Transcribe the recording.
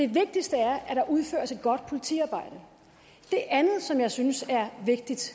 vigtigste er at der udføres et godt politiarbejde det andet som jeg synes er vigtigt